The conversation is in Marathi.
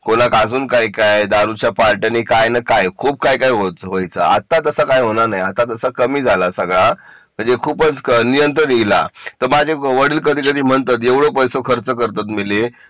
कोणाक अजून काय काय दारूच्या पार्ट्या आणि काय मी काय खूप काही व्हायचं आता तसं काही होणार नाही तसा कमी झाला सगळा म्हणजे खूपच नियंत्रण येईल तर माझे वडील कधी कधी म्हणतात एवढे पैसे खर्च करतात मेले